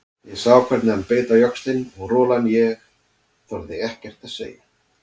Ég sá hvernig hann beit á jaxlinn og rolan ég þorði ekkert að segja.